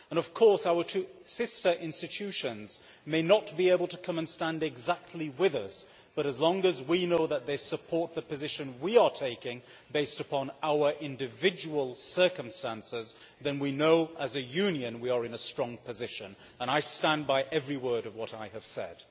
Of course our two sister institutions may not be able to come and stand exactly with us but, as long as we know that they support the position we are taking, based upon our individual circumstances, then we know as a Union that we are in a strong position. I stand by every word of what I have said.